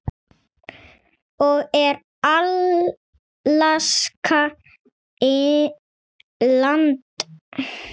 og Er Alaska land?